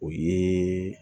O ye